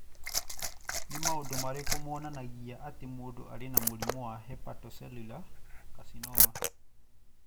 Nĩ maũndũ marĩkũ monanagia atĩ mũndũ arĩ na mũrimũ wa hepatocellular carcinoma?